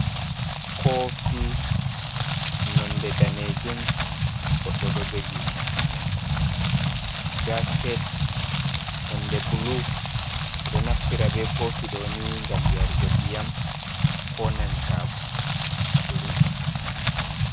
Kofi nonde danejum goɗɗo ɗo jogi, baskets nonde bulu, ɓeɗo ɗo naftira be kofi ɗoni, ngam yarugo ndiyam ko nanta siri.